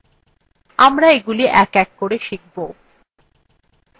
আমরা এগুলি we we করে শিখব